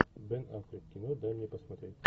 бен аффлек кино дай мне посмотреть